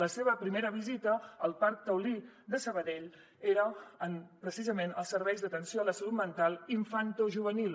la seva primera visita al parc taulí de sabadell era precisament als serveis d’atenció a la salut mental infantojuvenil